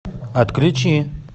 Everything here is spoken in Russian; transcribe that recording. отключи